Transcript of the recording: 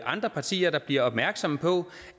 andre partier der bliver opmærksomme på